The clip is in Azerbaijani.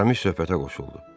Aramis söhbətə qoşuldu.